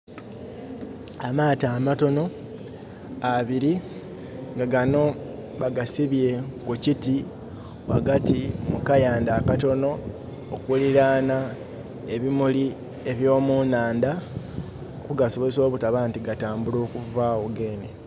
Amaato amatono abiri, nga gano bagasibye ku kiti ghagati mu kayandha akatono, okulilaana ebimuli eby'omunandha, okugasobozesa obutaba nti gatambula okuvaawo geene.